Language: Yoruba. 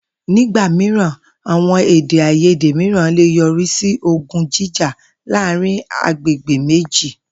Nígbà mìíràn, àwo̩n èdè-àìyédè mìíràn lè yo̩rí sí ogun jíjà láàárín agbègbè méjì